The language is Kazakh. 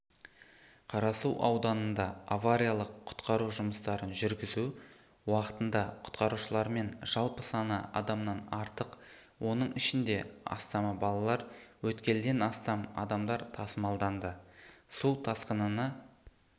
қарасу ауданында авариялық-құтқару жұмыстарын жүргізу уақытында құтқарушылармен жалпы саны адамнан артық оның ішінде астамы балалар өткелден астам адамдар тасымалданды су тасқынына